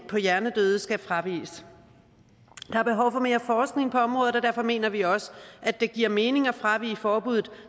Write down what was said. på hjernedøde skal fraviges der er behov for mere forskning på området og derfor mener vi også at det giver mening at fravige forbuddet